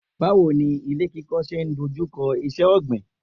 Báwo ni ilé kíkọ́ ṣe ń dojú kọ iṣẹ́ ọ̀gbìn.